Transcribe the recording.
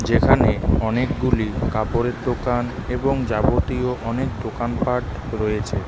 যেখানে অনেকগুলি কাপড়ের দোকান এবং যাবতীয় অনেক দোকানপাট রয়েছে .